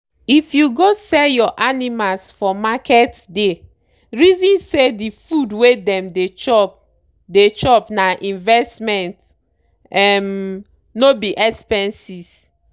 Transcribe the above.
if you go sell your animals for marketsdey reason say the food wey dem dey chop dey chop na investment um no be expenses.